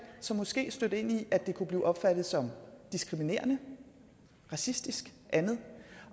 som måske stødte ind i at det kunne blive opfattet som diskriminerende racistisk andet